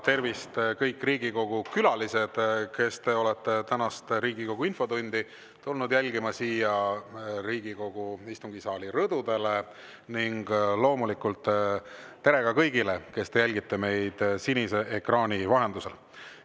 Tervist, kõik Riigikogu külalised, kes te olete tänast Riigikogu infotundi tulnud jälgima siia Riigikogu istungisaali rõdudele, ning loomulikult tere kõigile, kes te jälgite meid sinise ekraani vahendusel!